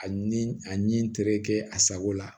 A ni a ni n terikɛ a sago la